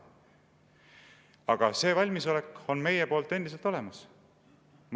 Aga see valmisolek on meie poolt endiselt olemas.